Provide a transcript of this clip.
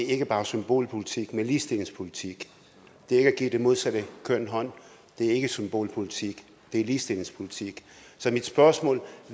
ikke bare er symbolpolitik men ligestillingspolitik det er ikke at give det modsatte køn hånden det er ikke symbolpolitik det er ligestillingspolitik så mit spørgsmål